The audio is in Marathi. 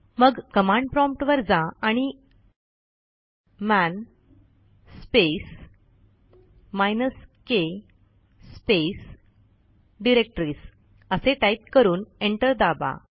मग कमांड promptवर जा आणि man space minus k space directories असे टाईप करून एंटर दाबा